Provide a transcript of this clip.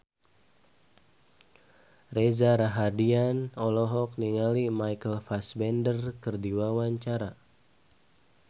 Reza Rahardian olohok ningali Michael Fassbender keur diwawancara